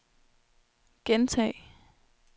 gentag